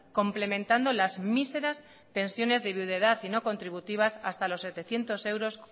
complementando las míseras pensiones de viudedad y no contributivas hasta los setecientos euros